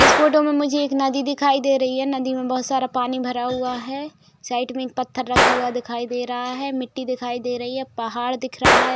इस फोटो में मुझे एक नदी दिखाई दे रही है। नदी में बहुत सारा पानी भरा हुआ है। साइड में एक पत्थर रखा हुआ दिखाई दे रहा है। मिट्टी दिखाई दे रही है। पहाड़ दिख रहा है।